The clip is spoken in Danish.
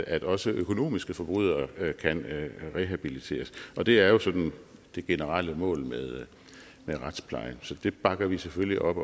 at også økonomiske forbrydere kan rehabiliteres og det er jo sådan det generelle mål med retsplejen så det bakker vi selvfølgelig op